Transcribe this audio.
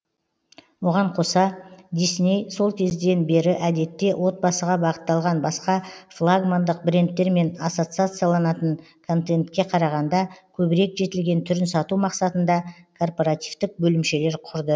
оған қоса дисней сол кезден бері әдетте отбасыға бағытталған басқа флагмандық брендтермен ассоциацияланатын контентке қарағанда көбірек жетілген түрін сату мақсатында корпоративтік бөлімшелер құрды